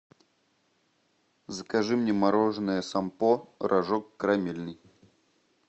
закажи мне мороженое сампо рожок карамельный